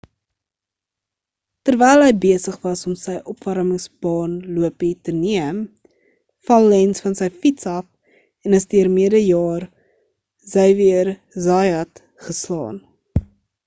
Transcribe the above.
terwyl hy besig was om sy opwarmings baan lopie te neem val lenz van sy fiets af en is deur mede jaer xavier zayat geslaan